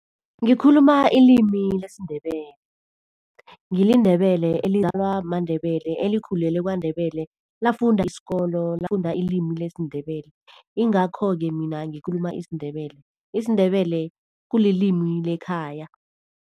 Ngikhuluma ilimi lesiNdebele. NgiliNdebele maNdebele, elikhulele KwaNdebele. Lafunda isikolo, lifunda ilimi lesiNdebele, ingakho-ke mina ngikhuluma isiNdebele. IsiNdebele kulilimi lekhaya.